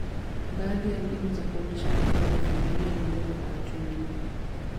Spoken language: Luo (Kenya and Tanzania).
Baadhi ya mbinu za kuonyesha upendo kwa familia ni ngumu kwa watu wengine.